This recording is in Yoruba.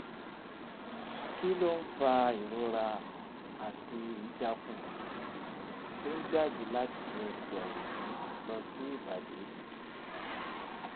kí ló ń fa ìrora àti idaku tó ń jáde láti ẹsẹ̀ ọ̀tún lọ sí ibadì?